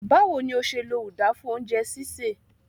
Báwo ni o ṣe lo uda fún oúnjẹ sísè?